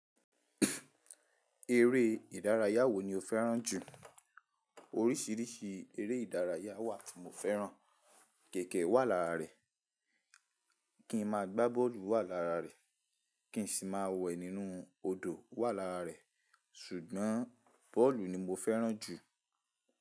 Eré ìdárayá wo ni o fẹ́ràn jù? Oríṣiríṣi eré ìdárayá wà tí mo fẹ́ràn, kẹ̀kẹ́ wà lára rẹ̀, kí n máa gbá bọ́ọ̀lù wà lára rẹ̀, kí n sì máa wẹ̀ nínú odò wà lára rẹ̀. Ṣùgbọ́n bọ́ọ̀lù ni mo fẹ́ràn jù.